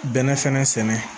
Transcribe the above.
Bɛnɛ fɛnɛ sɛnɛ